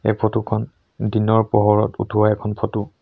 এই ফটো খন দিনৰ পোহৰত উঠোৱা এখন ফটো ।